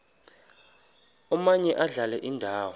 omaye adlale indawo